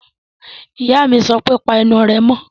Ìyá mi sọ pé, Pa ẹnu rẹ mọ́!